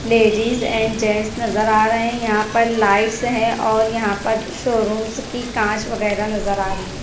Ladies and gents नजर आ रहे हैं यहां पर लाइट्स है और यहां पर शोरूम्स की कांच वगैरह नजर आ रही है।